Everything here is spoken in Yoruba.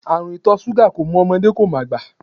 Àrùn ìtọ̀ ṣúgà kò mọ ọmọdé, kò mọ àgbà.